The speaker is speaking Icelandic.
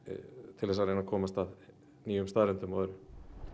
til þess að komast að nýjum staðreyndum og öðru